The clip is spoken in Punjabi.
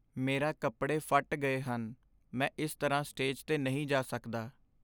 ਮੇਰਾ ਕੱਪੜੇ ਫੱਟ ਗਏ ਹਨ। ਮੈਂ ਇਸ ਤਰ੍ਹਾਂ ਸਟੇਜ 'ਤੇ ਨਹੀਂ ਜਾ ਸਕਦਾ।